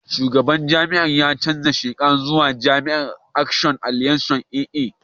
Shugaban jam'iyyar ya sauya sheka zuwa jam'iyyar Action Alliance (AA).